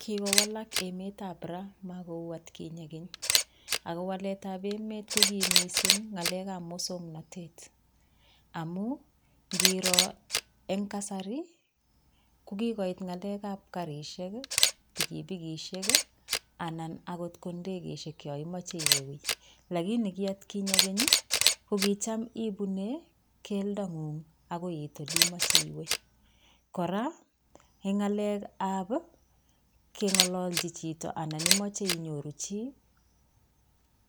Kikowalak emetab raa, makou olikinye Keny akowaletab emet kokiib missing ngalekab musoknotet, amun ingiiro en kasarii kokiit ngalekab garisiek ,pikipikisiek, anan akot ko ndekeisiek yon imoche iwe lakini, koi atkinye keny ko kitamibune keldangung akoi it, oleimoche iwe. kora en ngalekab kengololchii chito anan imoche inyooru chi,